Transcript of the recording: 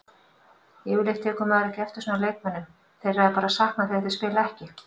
Yfirleitt tekur maður ekki eftir svona leikmönnum, þeirra er bara saknað þegar þeir spila ekki.